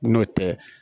N'o tɛ